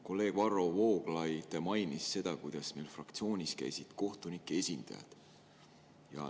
Kolleeg Varro Vooglaid mainis, et meil fraktsioonis käisid kohtunike esindajad.